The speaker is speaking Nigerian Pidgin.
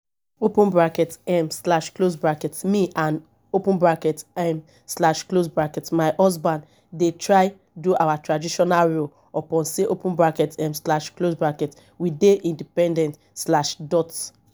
um me and um my husband dey try do our traditional roles upon sey um we dey independent.